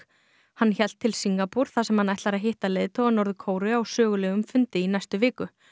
hann hélt svo til Singapúr þar sem hann ætlar að hitta leiðtoga Norður Kóreu á sögulegum fundi